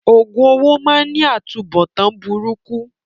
Òògùn owó máá ń ní atunbọ̀tán burúkú